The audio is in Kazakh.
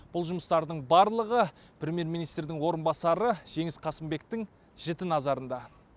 бұл жұмыстардың барлығы премьер министрдің орынбасары жеңіс қасымбектің жіті назарында